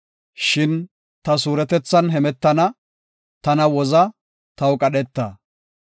Shin ta suuretethan hemetana; tana woza; taw qadheta.